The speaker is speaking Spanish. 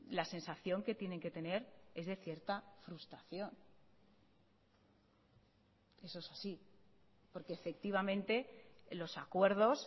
la sensación que tienen que tener es de cierta frustración eso es así porque efectivamente los acuerdos